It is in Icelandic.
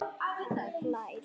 Hann hlær.